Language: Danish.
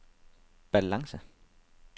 balance